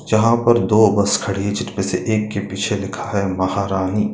जहाँ पर दो बस खड़ी है जिनमें से एक के पीछे लिखा है महारानी।